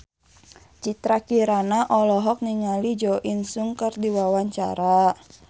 Citra Kirana olohok ningali Jo In Sung keur diwawancara